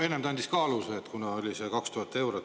Enne ta andis ka aluse, see oli 2000 eurot.